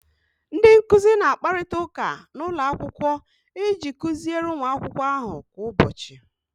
Ndị nkuzi na-akparịta ụka n'ụlọ akwụkwọ iji kuziere ụmụ akwụkwọ ahụ kwa ụbọchị